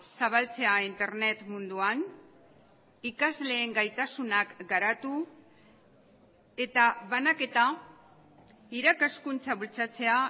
zabaltzea internet munduan ikasleen gaitasunak garatu eta banaketa irakaskuntza bultzatzea